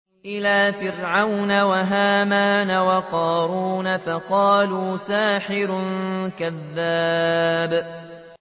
إِلَىٰ فِرْعَوْنَ وَهَامَانَ وَقَارُونَ فَقَالُوا سَاحِرٌ كَذَّابٌ